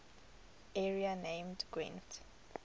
area named gwent